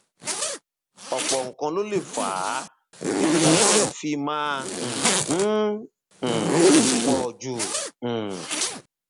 ọpọ nǹkan ló lè fà á tí potassium fi máa um ń um pọ jù um